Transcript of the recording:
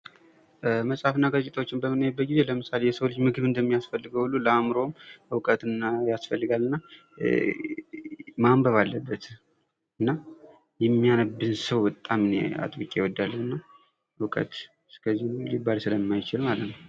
መጽሐፍና ጋዜጣዎችን በምናይበት ጊዜ የሰው ልጅ ምግብ እንደሚያስፈልገው ሁሉ ለአእምሮ እውቀትን ያስፈልጋልና ማንበብ አለበት። እና የሚያነብን ሰው እኔ በጣም አጥብቄ እወዳለሁ እና እውቀት እስከዚህ ነው ሊባል ስለማይችል ማለት ነው።